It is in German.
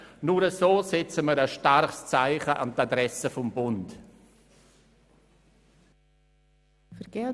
Nur so setzen wir ein starkes Zeichen an die Adresse des Bundes.